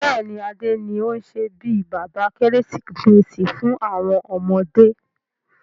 Bẹ́ẹ̀ni, Adé ni o n ṣe bí bàbá Kérésìmesì fún àwọn ọmọdé.